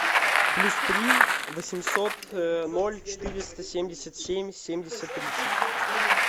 плюс три восемьсот ноль четыреста семьдесят семь семьдесят тридцать